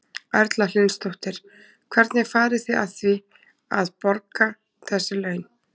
Erla Hlynsdóttir: Hvernig farið þið að því að, að borga þessi laun?